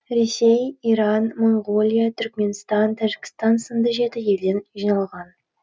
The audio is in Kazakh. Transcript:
ресей иран моңғолия түркіменстан тәжікстан сынды жеті елден жиналған